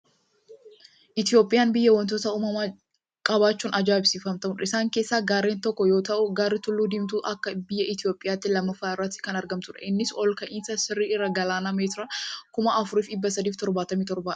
Itoophiyaan biyya waantota uumamaa qabaachuun ajaa'ibsiifamtudha. Isaan keessaa gaarreen tokko yoo ta'u, gaarri tulluu Diimtuu akka biyya Itoophiyaatti lammaffaa irratti kan agamtudha. Innis ol ka'iinsa sirrii irraa galaana meetiraan 4377 dha.